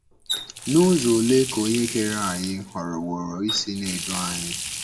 N'uzo olee ka Onye Kere anyị họrọwooro isi na - edu anyị?